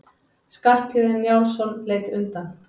Skarphéðinn Njálsson leit undan.